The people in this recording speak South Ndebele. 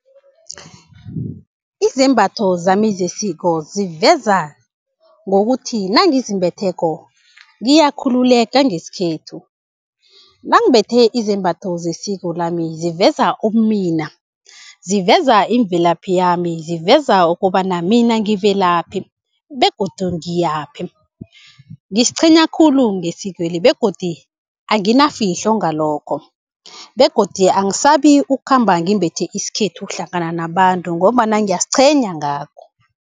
Izembatho zami zesiko ziveza ngokuthi nangizimbetheko ngiyakhululeka ngesikhethu nangimbethe izembatho zesiko lami ziveza ubumina, ziveza imvelaphi yami, ziveza ukobana mina ngivelaphi begodu ngiyaphi? Ngiziqhenya khulu ngesikweli begodu anginafihlo ngalokho begodu angisabi ukukhamba ngimbethe isikhethu hlangana nabantu ngombana ngiyaziqhenya ngakho.